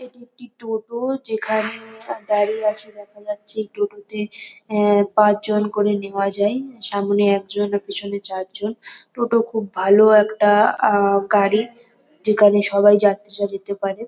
এটি একটি টোটো যেখানে দাঁড়িয়ে আছে দেখা যাচ্ছে। এই টোটোতে এহ- পাঁচজন করে নেওয়া যায়। সামনে একজন পিছনে চারজন। টোটো খুব ভালো একটা আ- গাড়ি যেখানে সবাই যাত্রীরা যেতে পারে।